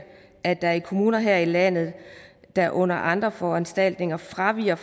at der i kommuner her i landet der under andre foranstaltninger fraviger